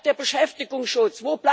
Wo bleibt der Beschäftigungsschutz?